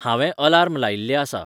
हांवे अलार्म लायिल्लें आसा